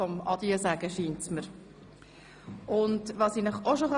Mir scheint, heute sei der Tag des Adieu-Sagens.